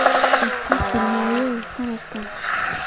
Is casili maayo sanadkan.